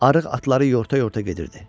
Arıq atları yorta-yorta gedirdi.